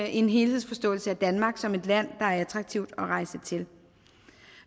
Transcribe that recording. en helhedsforståelse af danmark som et land det er attraktivt at rejse til